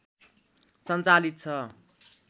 सञ्चालित छ